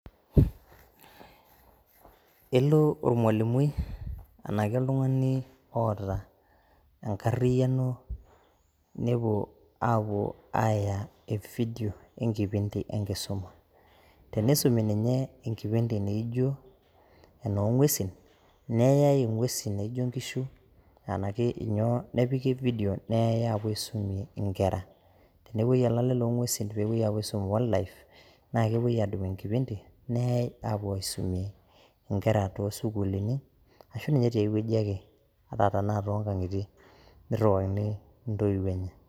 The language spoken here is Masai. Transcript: Elo ormwalimui anaake oltungani oota enkariyano nepo aaku aaya evideo enkipinti enkisuma, teneisomie ninye kipinti naaijo noo ng'wesin neyayi ng'wesin naajio inkishu anaake inyoo nepiki evideo neyayi aapo aisomie inkera, tenepoi olaale loo ng'wesin peepoi aapo aisom wildlife naa kepoi aadumu enkipindi neeai aapo aisomie inkera too sukulini ashu ninye te weji ake, ata tanaa too inkang'itie neiruwakini intoiwo enye